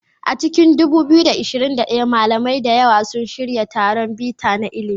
A cikin 2021, malamai da yawa sun shirya taron bita na ilimi.